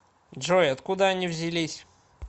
джой откуда они взялись